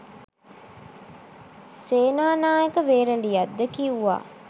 සේනානායක වේරලියද්ද කිව්වා